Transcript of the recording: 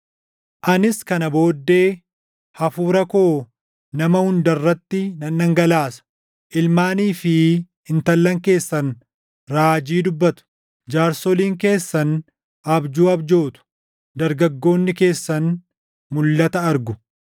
“Anis kana booddee, Hafuura koo nama hunda irratti nan dhangalaasa. Ilmaanii fi intallan keessan raajii dubbatu; jaarsoliin keessan abjuu abjootu; dargaggoonni keessan mulʼata argu.